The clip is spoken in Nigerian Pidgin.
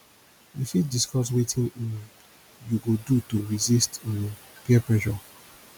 you fit discuss wetin um you go do to resist um peer pressure